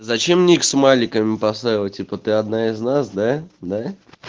зачем мне их смайликами поставила типа ты одна из нас да да